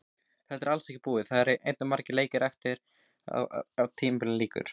Þetta er alls ekki búið, það eru enn margir leikir eftir áður en tímabilinu lýkur.